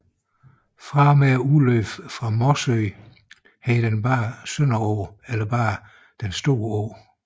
Fra og med udløbet fra Mossø hed den Sønderå eller blot Den Store Å